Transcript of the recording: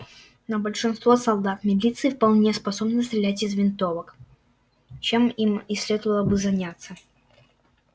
но большинство солдат милиции вполне способны стрелять из винтовок чем им и следовало бы заняться